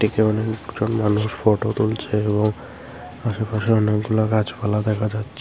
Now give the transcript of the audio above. প্রচুর মানুষ ফোটো তুলছে এবং আশেপাশে অনেকগুলা গাছপালা দেখা যাচ্ছে।